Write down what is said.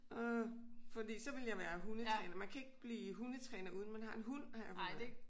Åh fordi så ville jeg være hundetræner man kan ikke blive hundetræner uden man har en hund har jeg fundet ud af